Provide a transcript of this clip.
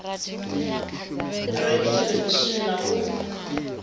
a renge theḽevishini na u